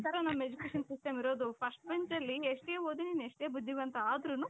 ಈ ತರ ನಮ್ education system ಇರೋದು. First benchಅಲ್ಲಿ ಎಷ್ಟೇ ಓದಿದ್ರುನು ಎಷ್ಟೇ ಬುದ್ಧಿವಂತ ಆದ್ರೂನು